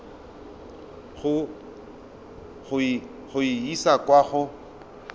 go e isa kwa go